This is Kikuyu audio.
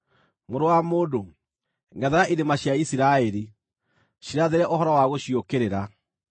“Mũrũ wa mũndũ, ngʼethera irĩma cia Isiraeli; cirathĩre ũhoro wa gũciũkĩrĩra,